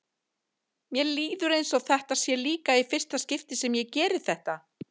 Mér líður eins og þetta sé líka í fyrsta skipti sem ég geri þetta.